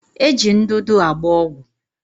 Eji ndụdụ agba ọgwụ